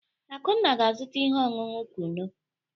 Akunna ga-azụta ihe ọṅụṅụ kunu.